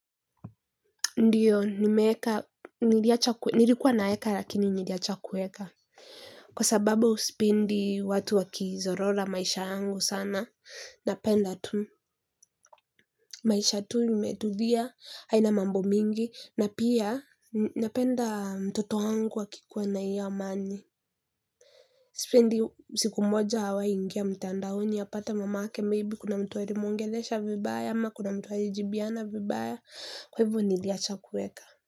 Ndio, nilikuwa naeka lakini niliacha kuweka. Kwa sababu sipendi watu wakizorora maisha yangu sana napenda tu maisha tu imetulia haina mambo mingi na pia napenda mtoto wangu akikuwa na hiyo amani sipendi siku moja awai ingia mtandaoni apate mamake maybe kuna mtu alimwongelesha vibaya ama kuna mtu alijibiana vibaya kwa hivyo nilicha kuweka.